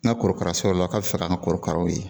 N'a korokara sɔrɔ la k'a bɛ fɛ ka n korokaraw ye.